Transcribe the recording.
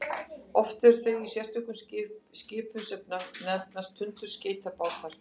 oft eru þau í sérstökum skipum sem nefnast tundurskeytabátar